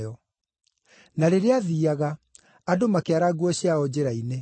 Na rĩrĩa aathiiaga, andũ makĩara nguo ciao njĩra-inĩ.